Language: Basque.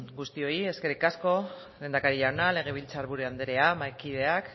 guztioi eskerrik asko lehendakari jauna legebiltzar gure andrea mahaikideak